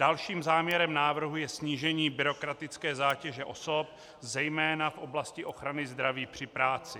Dalším záměrem návrhu je snížení byrokratické zátěže osob zejména v oblasti ochrany zdraví při práci.